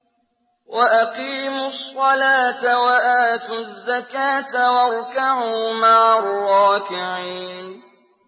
وَأَقِيمُوا الصَّلَاةَ وَآتُوا الزَّكَاةَ وَارْكَعُوا مَعَ الرَّاكِعِينَ